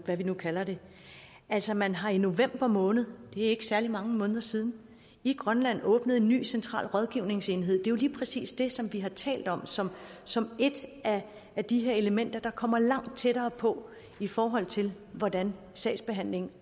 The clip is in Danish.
hvad vi nu kalder det altså man har i november måned det ikke særlig mange måneder siden i grønland åbnet en ny central rådgivningsenhed det er jo lige præcis det som vi har talt om som som et af de her elementer der kommer langt tættere på i forhold til hvordan sagsbehandlingen